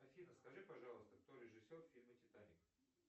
афина скажи пожалуйста кто режиссер фильма титаник